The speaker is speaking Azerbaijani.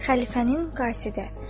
Xəlifənin qasidi.